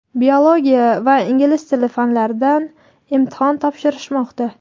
biologiya va ingliz tili fanlaridan imtihon topshirishmoqda.